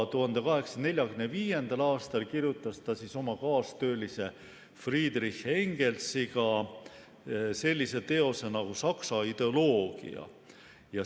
1845. aastal kirjutas ta koos oma kaastöölise Friedrich Engelsiga sellise teose nagu "Saksa ideoloogia".